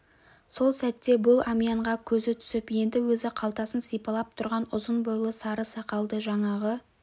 сол сәтте бұл әмиянға көзі түсіп енді өзі қалтасын сипалап тұрған ұзын бойлы сары сақалды жаңағы